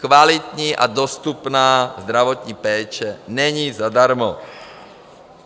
Kvalitní a dostupná zdravotní péče není zadarmo.